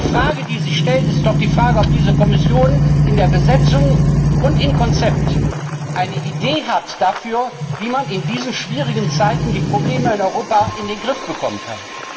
Die Frage, die sich stellt, ist doch, ob diese Kommission in der Besetzung und im Konzept eine Idee hat dafür, wie man in diesen schwierigen Zeiten die Probleme in Europa in den Griff bekommen kann.